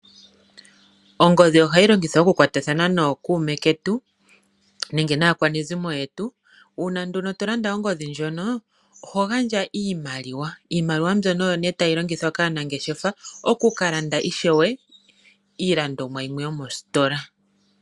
Ongodhi ohayi longithwa okukwatathana nookuume ketu oshowo naakwanezimo yetu. Uuna to landa ongodhi oho gandja iimaliwa mbyono oyo tayi longithwa kaanangeshefa okukalanda iilandomwa yimwe yomositola.